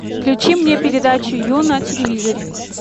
включи мне передачу ю на телевизоре